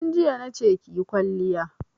Tun jiya na ce ki yi kwalliya!